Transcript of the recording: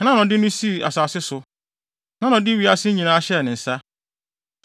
Hena na ɔde no sii asase so? Hena na ɔde wiase nyinaa hyɛɛ ne nsa?